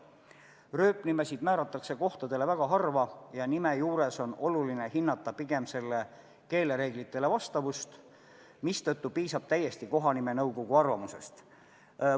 Kuna rööpnimesid määratakse kohtadele väga harva ja nime puhul on oluline hinnata eelkõige selle keelereeglitele vastavust, piisab kohanimenõukogu arvamusest täiesti.